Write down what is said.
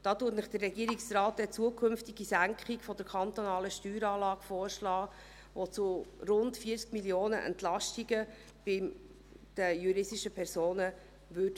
Und hier schlägt Ihnen der Regierungsrat eine zukünftige Senkung der kantonalen Steueranlage vor, die bei den juristischen Personen zu Entlastungen von rund 40 Mio. Franken führen würde.